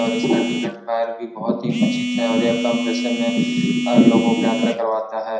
और इसका ticket fare भी बहुत ही उचित है और ये कम पैसे में अ लोगों को यात्रा करवाता है।